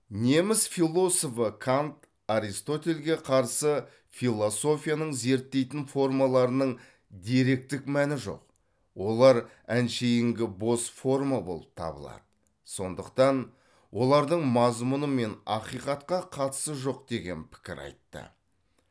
неміс философы кант аристотельге қарсы философияның зерттейтін формаларының деректік мәні жоқ олар әншейінгі бос форма болып табылады сондықтан олардың мазмұны мен ақиқатқа қатысы жоқ деген пікір айтты